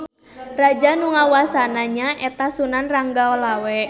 Raja nu ngawasana nya eta Sunan Ranggalawe.